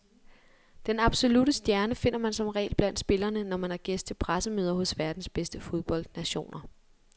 Den absolutte stjerne finder man som regel blandt spillerne, når man er gæst til pressemøder hos verdens bedste fodboldnationer.